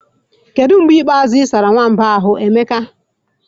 Kedu mgbe ikpeazụ ị sara nwamba a ahu, Emeka?